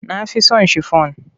Na fi so shifon.